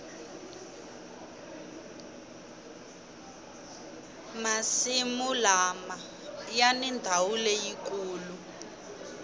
masimu lama yani ndawu leyikulu